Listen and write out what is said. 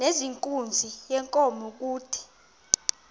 nezenkunzi yenkomo kude